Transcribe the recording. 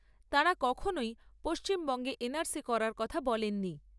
তাঁরা কখনই পশ্চিমবঙ্গে করার কথা বলেননি।